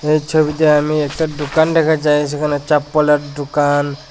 এই ছবিটায় আমি একটা দুকান দেখা যায় যেখানে চপ্পলের দুকান ।